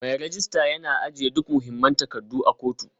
Mai rejista yana ajiye duk mahimman takardu a kotu